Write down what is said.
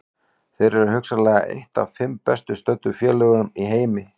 Þeir eru hugsanlega eitt af fimm best studdu félögum í heimi.